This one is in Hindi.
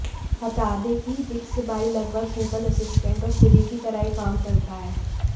बता दें कि बिक्सबाई लगभग गूगल असिस्टेंट और सिरी की तरह ही काम करता है